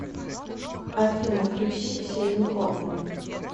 афина включи ксению хоффман